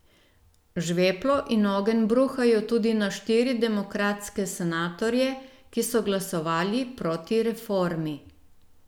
Žveplo in ogenj bruhajo tudi na štiri demokratske senatorje, ki so glasovali proti reformi.